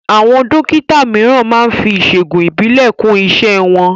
Àwọn Dókítà mìíràn máá ń fi ìṣègùn ìbílẹ̀ kún iṣẹ́ wọn